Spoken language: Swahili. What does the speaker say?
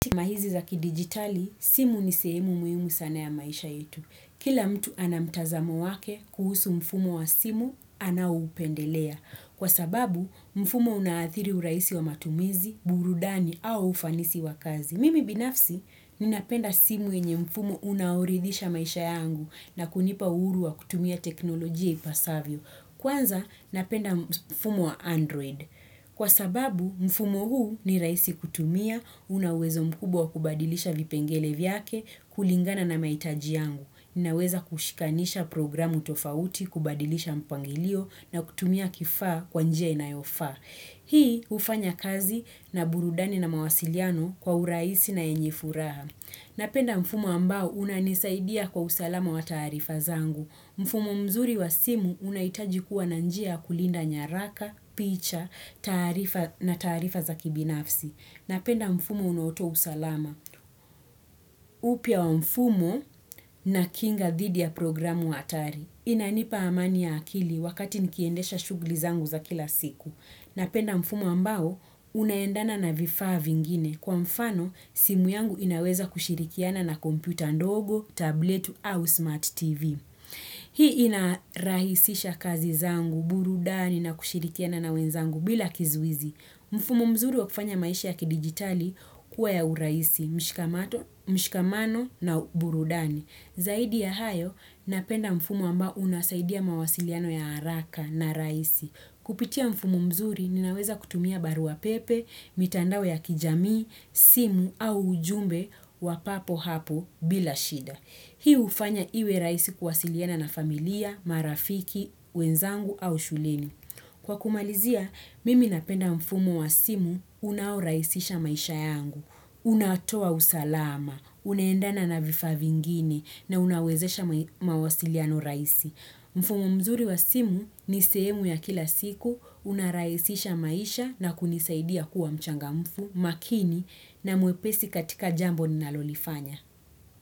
Maenzi za kidijitali, simu ni sehemu muhimu sana ya maisha yetu. Kila mtu ana mtazamo wake kuhusu mfumo wa simu, anaoupendelea. Kwa sababu, mfumo unaathiri urahisi wa matumizi, burudani au ufanisi wa kazi. Mimi binafsi, ninapenda simu yenye mfumo unaoridhisha maisha yangu na kunipa uhuru wa kutumia teknolojia ipasavyo. Kwanza, napenda mfumo wa Android. Kwa sababu mfumo huu ni rahisi kutumia una uwezo mkubwa wa kubadilisha vipengele vyake kulingana na mahitaji yangu. Ninaweza kushikanisha programu tofauti kubadilisha mpangilio na kutumia kifaa kwa njia inayofaa. Hii hufanya kazi na burudani na mawasiliano kwa urahisi na yenye furaha. Napenda mfumo ambao unanisaidia kwa usalama wa taarifa zangu. Mfumo mzuri wa simu unahitaji kuwa na njia ya kulinda nyaraka, picha, taarifa na taarifa za kibinafsi. Napenda mfumo unaotoa usalama. Upya wa mfumo na kinga dhidi ya programu hatari. Inanipa amani ya akili wakati nikiendesha shughuli zangu za kila siku. Napenda mfumo ambao, unaendana na vifaa vingine. Kwa mfano, simu yangu inaweza kushirikiana na kompyuta ndogo, tableti au smart TV. Hii inarahisisha kazi zangu, burudani na kushirikiana na wenzangu bila kizuizi. Mfumo mzuri wa kufanya maisha ya kidijitali kuwa ya urahisi, mshikamano na burudani. Zaidi ya hayo napenda mfumo ambao unasaidia mawasiliano ya haraka na rahisi. Kupitia mfumo mzuri ninaweza kutumia barua pepe, mitandao ya kijamii, simu au ujumbe wa papo hapo bila shida. Hii hufanya iwe rahisi kuwasiliana na familia, marafiki, wenzangu au shuleni. Kwa kumalizia, mimi napenda mfumo wa simu unaorahisisha maisha yangu. Unatoa usalama, unaendana na vifaa vingine na unawezesha mawasiliano rahisi. Mfumo mzuri wa simu ni sehemu ya kila siku unarahisisha maisha na kunisaidia kuwa mchangamfu makini na mwepesi katika jambo ninalolifanya.